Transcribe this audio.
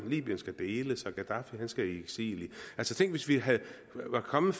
libyen skal deles og gadaffi skal i eksil altså tænk hvis vi var kommet